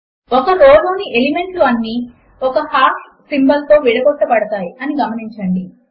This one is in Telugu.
ఒక రో లోని ఎలిమెంట్లు అన్నీ ఒక హాష్ సింబల్ తో విడగొట్టబడ్డాయి అని గమనించండి